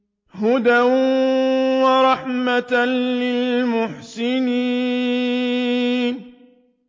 هُدًى وَرَحْمَةً لِّلْمُحْسِنِينَ